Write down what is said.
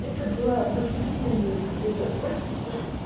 это была восхитительная беседа спасибо